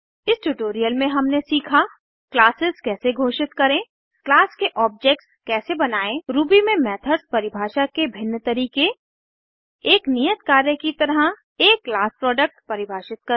इस ट्यूटोरियल में हमने सीखा क्लासेस कैसे घोषित करें क्लास के ऑब्जेक्ट्स कैसे बनायें रूबी में मेथड्स परिभाषा के भिन्न तरीके एक नियत कार्य की तरह160 एक क्लास प्रोडक्ट परिभाषित करना